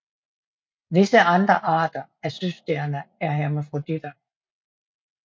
Visse andre arter af søstjerner er hermafroditer